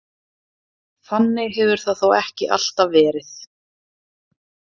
Þannig hefur það þó ekki alltaf verið.